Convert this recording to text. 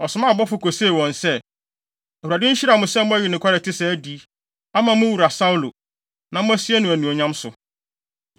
ɔsomaa abɔfo kosee wɔn se, “ Awurade nhyira mo sɛ moayi nokware a ɛte saa adi, ama mo wura Saulo, na moasie no anuonyam so.